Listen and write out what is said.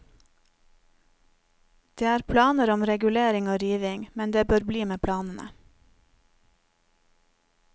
Det er planer om regulering og riving, men det bør bli med planene.